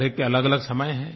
हर एक के अलगअलग समय हैं